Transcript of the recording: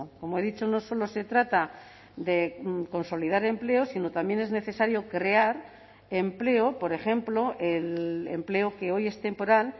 como he dicho no solo se trata de consolidar empleo sino también es necesario crear empleo por ejemplo el empleo que hoy es temporal